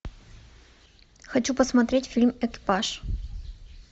хочу посмотреть фильм экипаж